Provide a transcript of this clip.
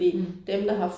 Mh